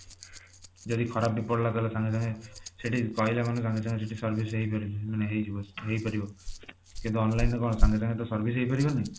ଯଦି ଖରାପ ବି ପଡିଲା ତାହେଲେ ସାଙ୍ଗେ ସାଙ୍ଗେ ସେଠି କହିଲେ ମାନେ ତାଙ୍କ ସେଠି service ବି ହେଇପାରିବ ମାନେ ହେଇଯିବ ହେଇପାରିବ କିନ୍ତୁ online ରେ କଣ ସାଙ୍ଗେ ସାଙ୍ଗେ service ହେଇପାରିବନି